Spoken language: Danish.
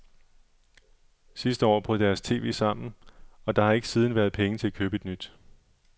Sidste år brød deres tv sammen, og der har ikke siden været penge til at købe et nyt.